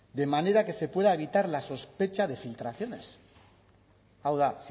de manera que se pueda evitar la sospecha de filtraciones hau da